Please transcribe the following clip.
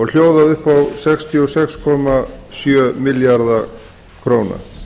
hljóðaði upp á sextíu og sex komma sjö milljarða króna